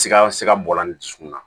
Siga siga bɔ la ni dusukun na